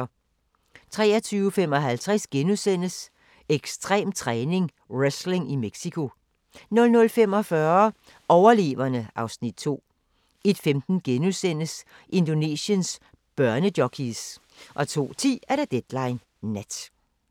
23:55: Ekstrem træning: Wrestling i Mexico * 00:45: Overleverne (Afs. 2) 01:15: Indonesiens børnejockeys * 02:10: Deadline Nat